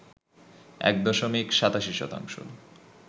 ১ দশমিক ৮৭ শতাংশ